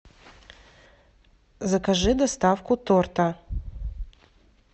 закажи доставку торта